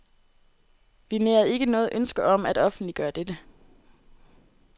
Vi nærede ikke noget ønske om at offentliggøre dette.